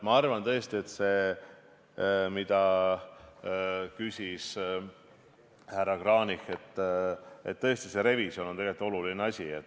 Ma arvan tõesti, et see, mida küsis härra Kranich, see revisjon on tegelikult oluline asi.